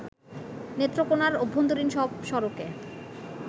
নেত্রকোণার অভ্যন্তরীণ সব সড়কে